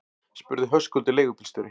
spurði Höskuldur leigubílstjóri.